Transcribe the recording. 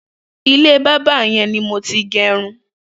Ilé bàbà yẹn ni mó ti n gẹrún